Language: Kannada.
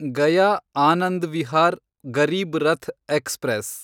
ಗಯಾ ಆನಂದ್ ವಿಹಾರ್ ಗರೀಬ್ ರಥ್‌ ಎಕ್ಸ್‌ಪ್ರೆಸ್